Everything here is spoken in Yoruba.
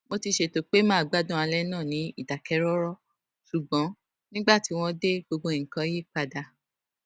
mo ti ṣètò pé màá gbádùn alé náà ní ìdákẹrọrọ ṣùgbón nígbà tí wón dé gbogbo nǹkan yí padà